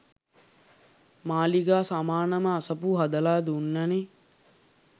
මාළිගා සමානම අසපු හදලා දුන්න නේ